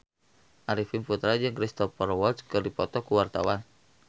Arifin Putra jeung Cristhoper Waltz keur dipoto ku wartawan